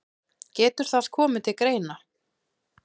Getur það komið til greina.